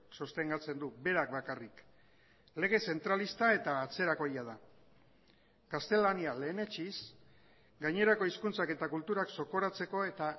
sostengatzen du berak bakarrik lege zentralista eta atzerakoia da gaztelania lehenetsiz gainerako hizkuntzak eta kulturak zokoratzeko eta